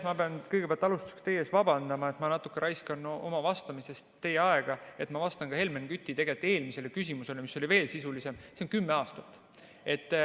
Ma pean kõigepealt alustuseks teie ees vabandama, et ma natuke raiskan oma vastamisel teie aega, sest ma vastan ka Helmen Küti eelmisele küsimusele, mis oli veel sisulisem: see on kümme aastat.